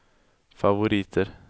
favoriter